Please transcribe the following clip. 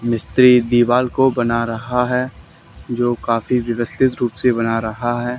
मिस्त्री दीवाल को बना रहा है जो काफी व्यवस्थित रूप से बना रहा है।